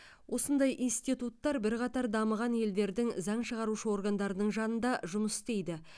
осындай институттар бірқатар дамыған елдердің заң шығарушы органдарының жанында жұмыс істейді